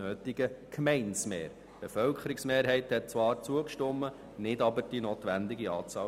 Die Bevölkerungsmehrheit hat zwar zugestimmt, aber nicht die Gemeinden in der notwendigen Anzahl.